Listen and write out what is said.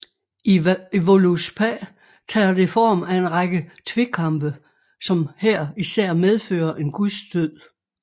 I Voluspá tager det form af en række tvekampe som her især medfører en guds død